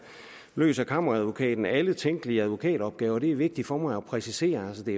løser kammeradvokaten alle tænkelige advokatopgaver det er vigtigt for mig at præcisere at det